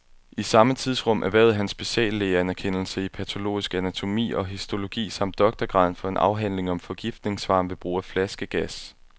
I samme tidsrum erhvervede han speciallægeanerkendelse i patologisk anatonomi og histologi samt doktorgraden for en afhandling om forgiftningsfaren ved brug af flaskegas.